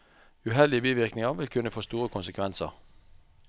Uheldige bivirkninger vil kunne få store konsekvenser.